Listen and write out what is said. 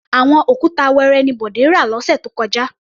Àwọn òkúta wẹẹrẹ ni Bọ̀dé rà lọ́sẹ̀ tó kọjá.